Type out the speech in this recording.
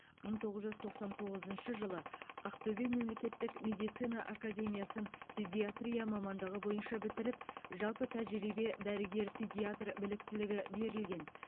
мың тоғыз жүз тоқсан тоғызыншы жылы ақтөбе мемлекеттік медицина академиясын педиатрия мамандығы бойынша бітіріп жалпы тәжірибе дәрігер педиатр біліктілігі берілген